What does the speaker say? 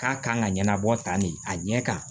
K'a kan ka ɲɛnabɔ tan de ye a ɲɛ kan